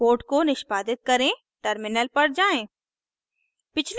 code को निष्पादित करें टर्मिनल पर जाएँ